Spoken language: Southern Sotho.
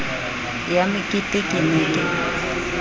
ya mekete ke ne ke